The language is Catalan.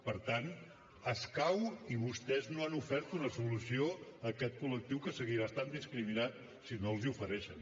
per tant escau i vostès no han ofert una solució a aquest col·lectiu que seguirà estant discriminat si no els hi ofereixen